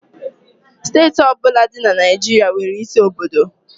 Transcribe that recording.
Steeti ọ bụla dị na Naịjirịa nwere isi obodo.